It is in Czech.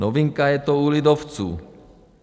Novinka je to u lidovců.